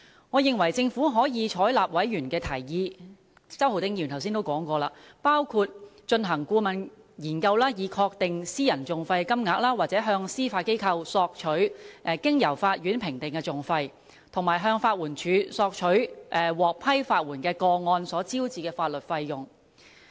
我認為政府可以採納委員的提議，正如周浩鼎議員剛才所說，包括進行顧問研究，以確定私人訟費金額，或向司法機構索取經由法院評定的訟費，以及向法援署索取獲批法援的個案所招致的法律費用。